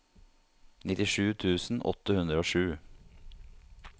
nittisju tusen åtte hundre og sju